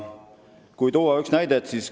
Toon ühe näite.